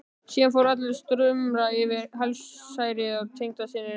Síðan fóru allir að stumra yfir helsærðum tengdasyninum.